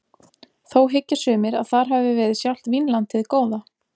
Þó hyggja sumir að þar hafi verið sjálft Vínland hið góða.